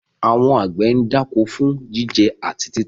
Àwọn àgbẹ̀ ń dáko fún jíjẹ àti títà.